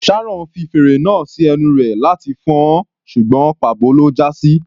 Sharon fi fèrè náà sí ẹnu rẹ̀ láti fọn-ọn ṣùgbọ́n pà bo ló já sí.